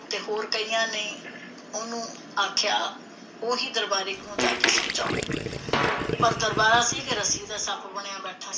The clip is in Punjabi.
ਤੇ ਹੋਰ ਕਈਆਂ ਨੂੰ ਉਹਨੇ ਆਖਿਆ ਕਿ ਉਹ ਹੀ ਦਰਬਾਰੇ ਨੂੰ ਜਾ ਕੇ ਸਮਝਾਉਣ। ਪਰ ਦਰਬਾਰਾ ਸੀ ਕਿ ਰੱਸੀ ਦਾ ਸੱਪ ਬਣਿਆ ਬੈਠਾ ਸੀ।